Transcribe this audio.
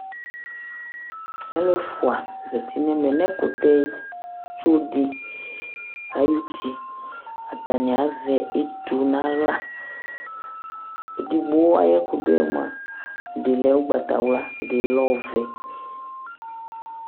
alʊ ɛfua zati nʊ ɛmɛ nʊ ɛkʊtɛtsodɩ ay'uti, atanɩ azɛ etu n'aɣla, edigbo ayʊ ɛkʊ dʊ yɛ mua lɛ ugbatawla, ɛdɩ lɛ ɔvɛ,